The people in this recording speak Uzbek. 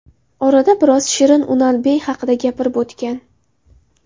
Orada biroz Shirin Unalbey haqida gapirib o‘tgan.